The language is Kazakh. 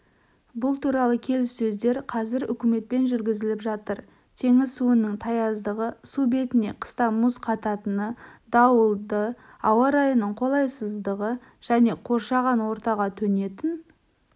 бұл туралы келіссөздер қазір үкіметпен жүргізіліп жатыр теңіз суының таяздығы су бетіне қыста мұз қататыны дауылды ауа-райының қолайсыздығы және қоршаған ортаға төнетін